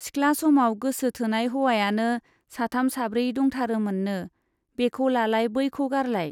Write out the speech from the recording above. सिख्ला समाव गोसो थोनाय हौवायानो साथाम साब्रै दंथारोमोननो, बेखौ लालाय बैखौ गारलाय।